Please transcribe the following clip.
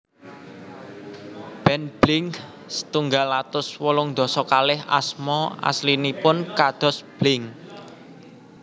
Band Blink setunggal atus wolung dasa kalih asma aslinipun kados Blink